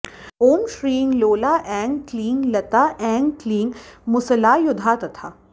ॐ श्रीं लोला ऐं क्लीं लता ऐं क्लीं मुसलायुधा तथा